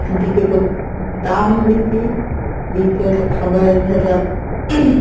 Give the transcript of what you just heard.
একদিকে দাম বেশি দ্বিতীয়ত খাবারে ভেজাল ing